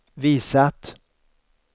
visat